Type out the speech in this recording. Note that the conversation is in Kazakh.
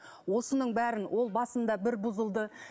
осының бәрін ол басында бір бұзылды